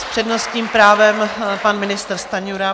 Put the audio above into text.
S přednostním právem pan ministr Stanjura.